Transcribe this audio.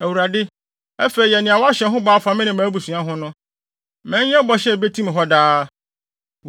“ Awurade, afei yɛ nea woahyɛ ho bɔ afa me ne mʼabusuafo ho no. Ma ɛnyɛ bɔhyɛ a ebetim hɔ daa.